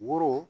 Woro